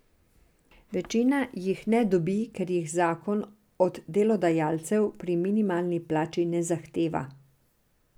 Večina jih ne dobi, ker jih zakon od delodajalcev pri minimalni plači ne zahteva.